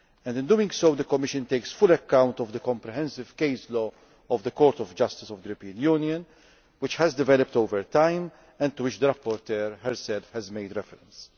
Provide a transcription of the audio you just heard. In doing so, the Commission takes full account of the comprehensive case law of the Court of Justice of the European Union, which has developed over time and to which the rapporteur herself has made reference.